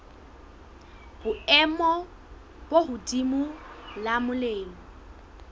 boemo bo hodimo la molemi